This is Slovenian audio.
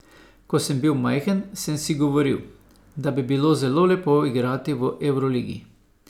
Ko sem bil majhen, sem si govoril, da bi bilo zelo lepo igrati v evroligi.